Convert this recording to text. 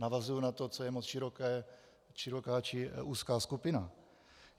Navazuji na to, co je moc široká, či úzká skupina.